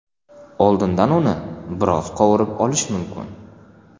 Oldindan uni biroz qovurib olish mumkin.